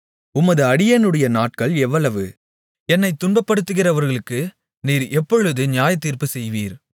உமது அடியேனுடைய நாட்கள் எவ்வளவு என்னைத் துன்பப்படுத்துகிறவர்களுக்கு நீர் எப்பொழுது நியாயத்தீர்ப்பு செய்வீர்